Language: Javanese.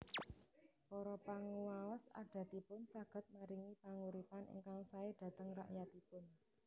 Para panguwaos adatipun saged maringi panguripan ingkang sae dateng rakyatipun